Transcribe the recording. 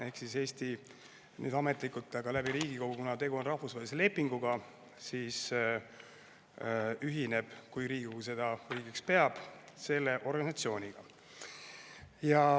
Ehk Eesti ametlikult, Riigikogu, kuna tegu on rahvusvahelise lepinguga, ühineb, kui Riigikogu seda õigeks peab, selle organisatsiooniga.